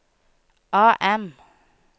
AM